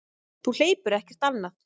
Þú hleypur ekkert annað.